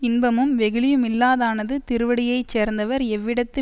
இன்பமும் வெகுளியுமில்லாதானது திருவடியைச் சேர்ந்தவர் எவ்விடத்து